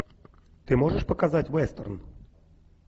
ты можешь показать вестерн